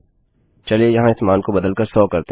चलिए यहाँ इस मान को बदल कर 100 करते हैं